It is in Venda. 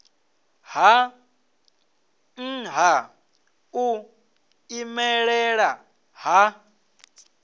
ha nha u imelela ha